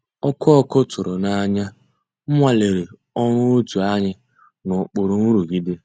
Ọ́kụ́ ọ́kụ́ tụ̀rụ̀ n'ànyá nwàlérè ọ́rụ́ ótú ànyị́ n'òkpùrú nrụ̀gídé.